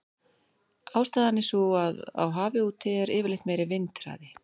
Ástæðan er sú að á hafi úti er yfirleitt meiri vindhraði.